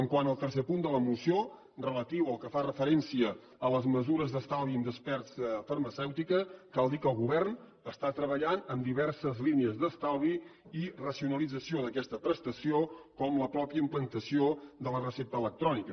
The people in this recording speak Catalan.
quant al tercer punt de la moció relatiu o que fa referència a les mesures d’estalvi en despesa farmacèutica cal dir que el govern està treballant en diverses línies d’estalvi i racionalització d’aquesta prestació com la mateixa implantació de la recepta electrònica